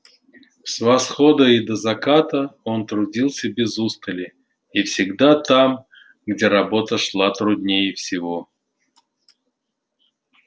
с восхода и до заката он трудился без устали и всегда там где работа шла труднее всего